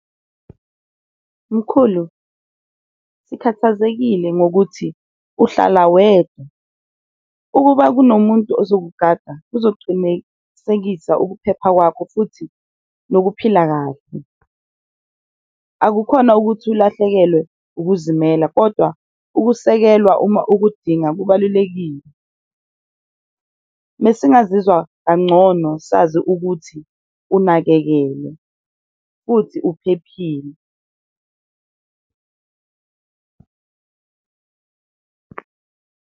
Mkhulu sikhathazekile ngokuthi uhlala wedwa ukuba kunomuntu ozokugada uzocunisekisa ukuphepha kwakho futhi nokuphila kahle. Akukhona ukuthi ulahlekelwe ukuzimela, kodwa ukusekelwa uma ukudinga kubalulekile mesingazizwa kangcono sazi ukuthi unakekelwe futhi uphephile.